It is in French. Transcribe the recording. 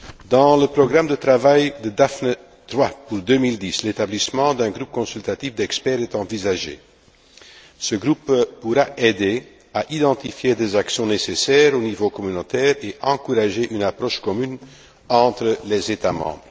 Dans le programme de travail de Daphné III pour 2010, l'établissement d'un groupe consultatif d'experts est envisagé. Ce groupe pourra aider à identifier des actions nécessaires au niveau communautaire et encourager une approche commune entre les États membres.